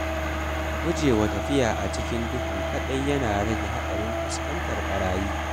Gujewa tafiya a cikin duhu kaɗai yana rage haɗarin fuskantar barayi.